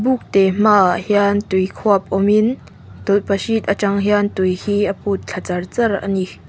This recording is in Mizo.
puk te hmaah hian tui khuap awm in tawlhpahrit atang hian tui hi a put thla char char ani.